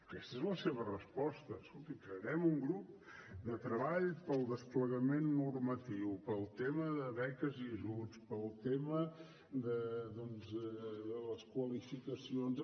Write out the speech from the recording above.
aquesta és la seva resposta escolti crearem un grup de treball pel desplegament normatiu pel tema de beques i ajuts pel tema doncs de les qualificacions